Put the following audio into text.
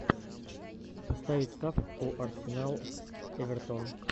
поставить ставку арсенал эвертон